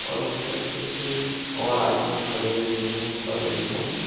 और उस तरफ कुछ और आदमी खडे हुए है बगल मे--